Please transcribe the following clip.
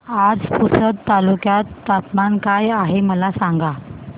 आज पुसद तालुक्यात तापमान काय आहे मला सांगा